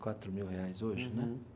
Quatro mil reais hoje, né?